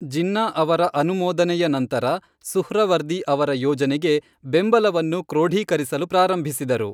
ಜಿನ್ನಾ ಅವರ ಅನುಮೋದನೆಯ ನಂತರ, ಸುಹ್ರವರ್ದಿ ಅವರ ಯೋಜನೆಗೆ ಬೆಂಬಲವನ್ನು ಕ್ರೋಢೀಕರಿಸಲು ಪ್ರಾರಂಭಿಸಿದರು.